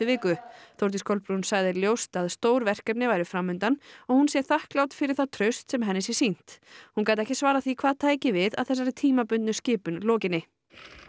viku Þórdís Kolbrún sagði ljóst að stór verkefni væru fram undan og hún sé þakklát fyrir það traust sem henni sé sýnt hún gat ekki svarað því hvað tæki við að þessari tímabundnu skipun lokinni